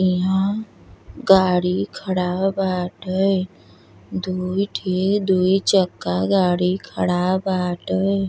इहाँ गाड़ी खड़ा बाटे दूय ठे दूय चक्का गाड़ी खड़ा बाटे।